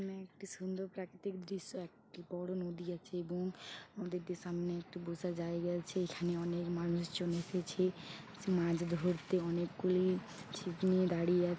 এখানে একটি সুন্দর প্রাকৃতিক দৃশ্য একটি বড়ো নদী আছে এবং নদীটির সামনে একটি বোসার জায়গা আছে এখানে অনেক মানুষ জন এসেছে মাছ ধরতে অনেক গুলি ছিপ নিয়ে দাড়িয়ে আছ--